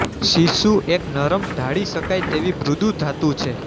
સીસું એક નરમ ઢાળી શકાય તેવી મૃદુ ધાતુ છે